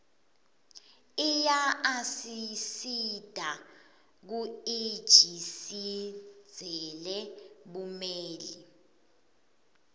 iyaasisita kuiji sindzele bumeli